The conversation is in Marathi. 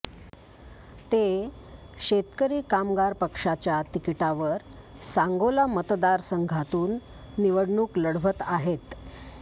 ते शेतकरी कामगार पक्षाच्या तिकिटावर सांगोला मतदारसंघातून निवडणूक लढवत आहेत